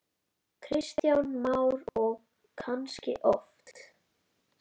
Kristján Már: Og kannski oft?